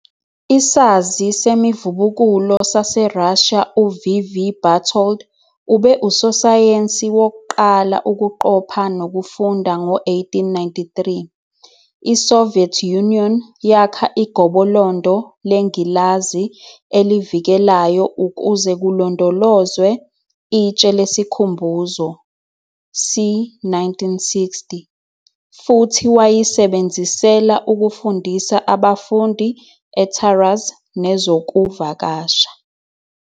Isazi semivubukulo saseRussia uV. V. Bartold ube usosayensi wokuqala ukuqopha nokufunda ngo-1893. I-Soviet Union yakha igobolondo lengilazi elivikelayo ukuze kulondolozwe itshe lesikhumbuzo, c 1960, futhi wayisebenzisela ukufundisa abafundi eTaraz nezokuvakasha.